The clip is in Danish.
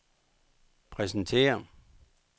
præsentere